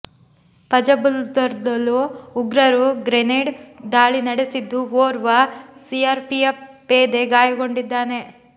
ಫಜಲ್ಪುರ್ದಲ್ಲೂ ಉಗ್ರರು ಗ್ರೆನೇಡ್ ದಾಳಿ ನಡೆಸಿದ್ದು ಓರ್ವ ಸಿಆರ್ಪಿಎಫ್ ಪೇದೆ ಗಾಯಗೊಂಡಿದ್ದಾನೆ